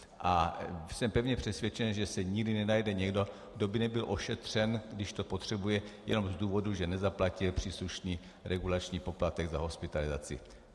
A jsem pevně přesvědčen, že se nikdy nenajde někdo, kdo by nebyl ošetřen, když to potřebuje, jenom z důvodu, že nezaplatil příslušný regulační poplatek za hospitalizaci.